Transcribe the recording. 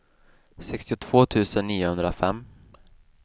sextiotvå tusen niohundrafem